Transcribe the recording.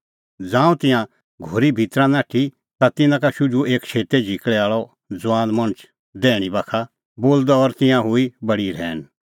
ज़ांऊं तिंयां घोरी भितरी नाठी ता तिन्नां का शुझुअ एक शेतै झिकल़ै आल़अ ज़ुआन मणछ दैहणीं बाखा बेठअ द और तिंयां हुई बडी रहैन